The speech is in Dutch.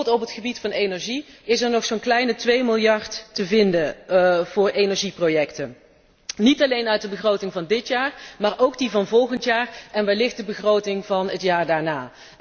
Bijvoorbeeld op het gebied van energie moet er nog zo'n kleine 2 miljard worden gevonden voor energieprojecten, niet alleen uit de begroting van dit jaar, maar ook die van volgend jaar en wellicht de begroting van het jaar daarna.